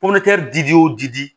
di o dili